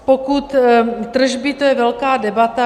Pokud tržby - to je velká debata.